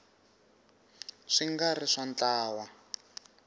swi nga ri swa ntlawa